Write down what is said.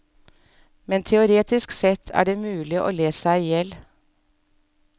Men teoretisk sett er det mulig å le seg ihjel.